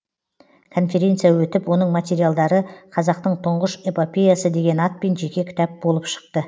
конференция өтіп оның материалдары қазақтың тұңғыш эпопеясы деген атпен жеке кітап болып шықты